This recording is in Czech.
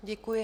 Děkuji.